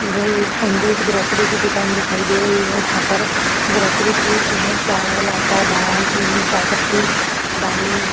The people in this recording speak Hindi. यह एक ऐन्जलस ग्रोस्री की दुकान दिखाई दे रही है जहां पर ग्रोस्री चावल आटा दाल चीनी चाय पत्ति दाले --